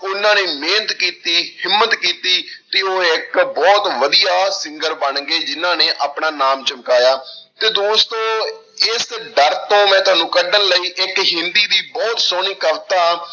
ਉਹਨਾਂ ਨੇ ਮਿਹਨਤ ਕੀਤੀ ਹਿੰਮਤ ਕੀਤੀ ਤੇ ਉਹ ਇੱਕ ਬਹੁਤ ਵਧੀਆ singer ਬਣ ਗਏ, ਜਿਹਨਾਂ ਨੇ ਆਪਣਾ ਨਾਮ ਚਮਕਾਇਆ ਤੇ ਦੋਸਤੋ ਇਸ ਡਰ ਤੋਂ ਮੈਂ ਤੁਹਾਨੂੰ ਕੱਢਣ ਲਈ ਇੱਕ ਹਿੰਦੀ ਦੀ ਬਹੁਤ ਸੋਹਣੀ ਕਵਿਤਾ